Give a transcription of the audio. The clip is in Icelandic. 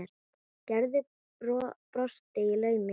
Gerður brosti í laumi.